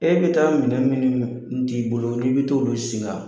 E bɛ taa minɛ minnu u t'i bolo i bɛ taa olu siga.